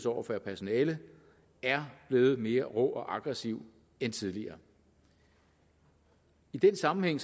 over for personalet er blevet mere rå og aggressiv end tidligere i den sammenhæng